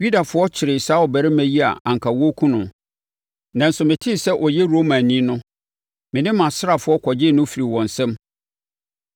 Yudafoɔ kyeree saa ɔbarima yi a anka wɔrekum no, nanso metee sɛ ɔyɛ Romani no, me ne mʼasraafoɔ kɔgyee no firii wɔn nsam.